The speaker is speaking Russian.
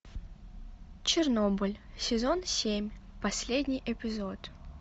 чернобыль сезон семь последний эпизод